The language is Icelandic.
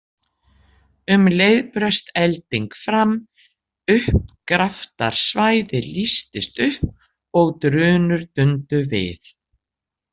Um leið braust elding fram, uppgraftrarsvæðið lýstist upp og drunur dundu við.